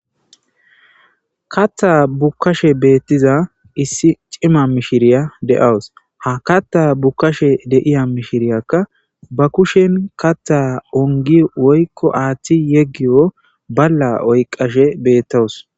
katha bukkashe beettiza issi cima mishiriya de7awus ha katha bukkashe deiya mishiriyakka ba kushen katha ongi woykko aaththi yeggiyo balla oyqashe beettowus